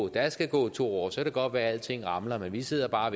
der skal gå to år og så kan det godt være at alting ramler men vi sidder bare